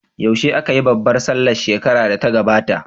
Yaushe aka yi babbar sallah shekarar da ta gabata?